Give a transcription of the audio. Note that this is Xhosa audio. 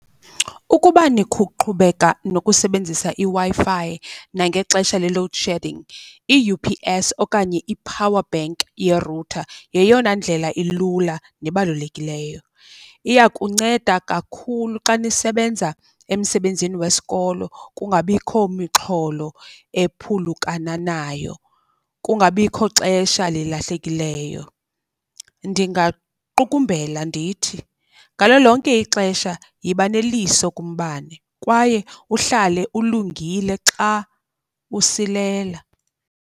Ukuba qhubeka nokusebenzisa iWi-Fi nangexesha le-load shedding, i-U_P_S okanye i-power bank yerutha yeyona ndlela ilula nebalulekileyo. Iya kunceda kakhulu xa nisebenza emsebenzini wesikolo, kungabikho mixholo ephulukana nayo, kungabikho xesha lilahlekileyo. Ndingaqukumbela ndithi, ngalo lonke ixesha yiba neliso kumbane kwaye uhlale ulungile xa usilela.